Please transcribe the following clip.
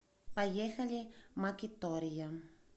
поехали макитория